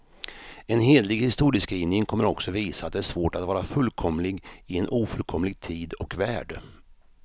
En hederlig historieskrivning kommer också visa, att det är svårt att vara fullkomlig i en ofullkomlig tid och värld.